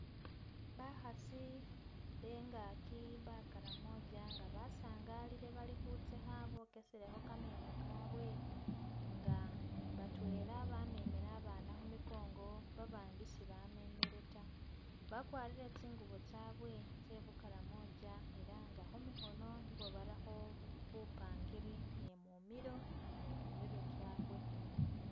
Bakhasi bengaki bakaramoja nga basangalile bali khutsekha bokeselekho kameeno kabwe nga batweela bamemela abana khumigongo abandi sibamemele ta bagwarile tsingubo tsawe tse bukaramoja elanga khumikhono nibo barakho buppangiri ni mumilo ni khumirwe kyaabwe.